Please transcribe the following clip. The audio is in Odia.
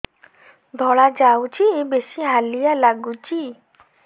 ଧଳା ଯାଉଛି ବେଶି ହାଲିଆ ଲାଗୁଚି